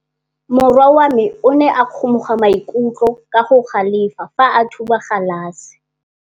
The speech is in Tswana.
Morwa wa me o ne a kgomoga maikutlo ka go galefa fa a thuba galase.